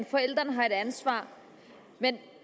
forældrene har et ansvar men